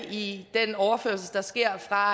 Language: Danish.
i den overførsel der sker fra